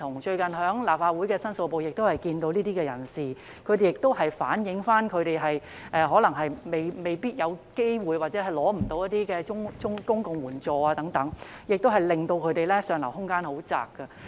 最近立法會申訴部亦曾接見這些人士，他們反映自己未必有機會，或是無法申請一些公共援助等，令他們上流空間很狹窄。